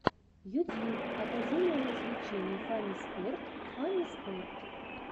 ютьюб академия развлечений фанниспорт фанниспорт